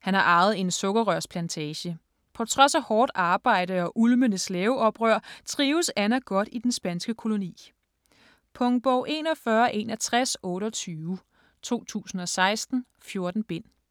Han har arvet en sukkerrørsplantage. På trods af hårdt arbejde og ulmende slaveoprør trives Ana godt i den spanske koloni. Punktbog 416128 2016. 14 bind.